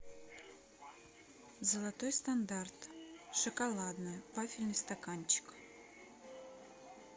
золотой стандарт шоколадное вафельный стаканчик